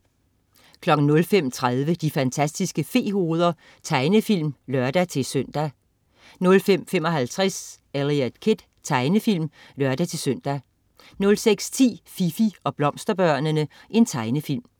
05.30 De fantastiske fe-hoveder. Tegnefilm (lør-søn) 05.55 Eliot Kid. Tegnefilm (lør-søn) 06.10 Fifi og Blomsterbørnene. Tegnefilm